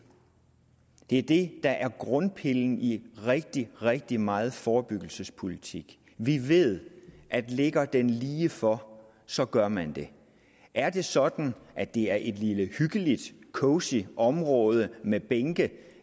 det er det der er grundpillen i rigtig rigtig meget forebyggelsespolitik vi ved at ligger det lige for så gør man det er det sådan at det er et lille hyggeligt cosy område med bænke